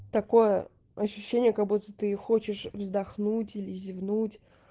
такое ощущение как-будто ты хочешь вздохнуть или зевнуть